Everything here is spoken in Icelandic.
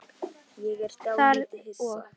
Þorgeir og